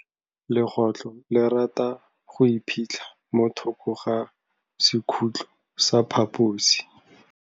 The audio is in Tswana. Legôtlô le rata go iphitlha mo thokô ga sekhutlo sa phaposi.